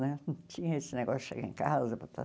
Né não tinha esse negócio de chegar em casa e botar.